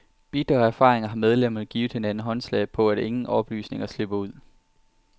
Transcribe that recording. Bitre af erfaringer har medlemmerne givet hinanden håndslag på, at ingen oplysninger slipper ud.